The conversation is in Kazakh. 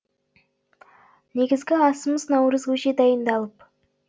негізгі асымыз наурыз көже дайындалып